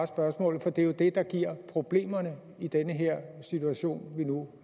spørgsmål for det er jo det der giver problemerne i den situation vi nu